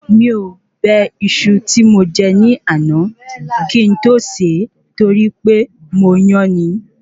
Mi ò bẹ Iṣu ti mo je ní àná kí n to se torí pé mo yán ni